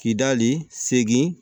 Kidali segin